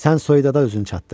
Sən soyuda özün çatdır.